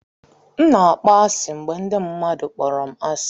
M na-akpọ asị mgbe ndị mmadụ kpọrọ m asị.